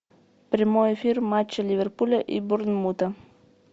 прямой эфир матча ливерпуля и борнмута